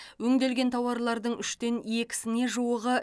өңделген тауарлардың үштен екісіне жуығы